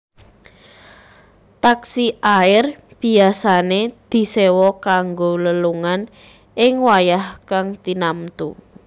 Taksi air biyasané diséwa kanggo lelungan ing wayah kang tinamtu